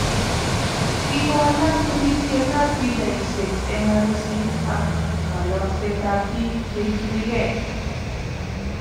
kigowalak birisietab pichaisyek eng arusiit ak kaloksetab biik cheitunigei